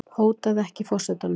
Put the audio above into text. Hótaði ekki forsetanum